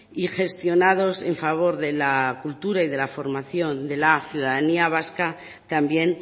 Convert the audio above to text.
y gestionados en favor de la cultura y de la formación de la ciudadanía vasca también